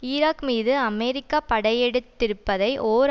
Iraq மீது America படையெடுத்திருப்பதை ஓர்